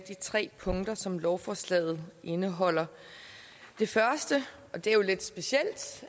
tre punkter som lovforslaget indeholder det første og det er jo lidt specielt